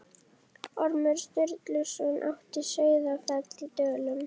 Ormur Sturluson átti Sauðafell í Dölum.